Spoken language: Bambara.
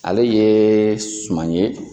Ale ye suman ye.